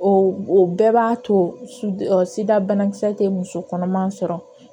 O o bɛɛ b'a to sidabana kisɛ tɛ musokɔnɔma sɔrɔ